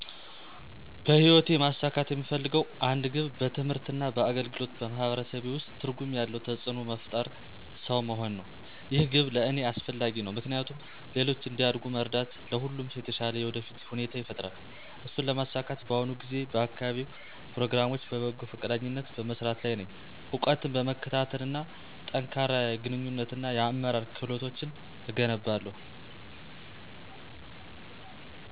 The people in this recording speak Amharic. በህይወቴ ማሳካት የምፈልገው አንድ ግብ በትምህርት እና በአገልግሎት በማህበረሰቤ ውስጥ ትርጉም ያለው ተጽእኖ መፍጠርሰው መሆን ነው። ይህ ግብ ለእኔ አስፈላጊ ነው ምክንያቱም ሌሎች እንዲያድጉ መርዳት ለሁሉም ሰው የተሻለ የወደፊት ሁኔታ ይፈጥራል። እሱን ለማሳካት በአሁኑ ጊዜ በአካባቢያዊ ፕሮግራሞች በበጎ ፈቃደኝነት በመስራት ላይ ነኝ፣ እውቀትን በመከታተል እና ጠንካራ የግንኙነት እና የአመራር ክህሎቶችን እገነባለሁ።